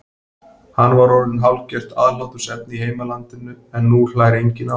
Hann var orðinn hálfgert aðhlátursefni í heimalandinu en nú hlær enginn að honum.